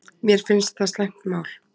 Mér finnst það slæmt mál